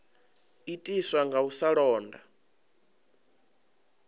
itiswa nga u sa londa